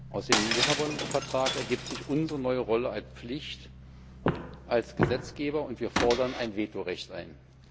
Aus dem Vertrag von Lissabon ergibt sich unsere neue Rolle und Pflicht als Gesetzgeber, und wir fordern ein Vetorecht ein.